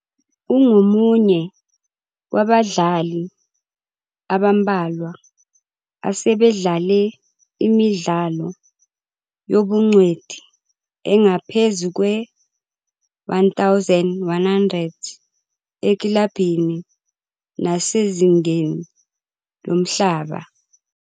Ungomunye wabadlali abambalwa asebedlale imidlalo yobungcweti engaphezu kwe-1,100 ekilabhini nasezingeni lomhlaba.